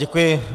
Děkuji.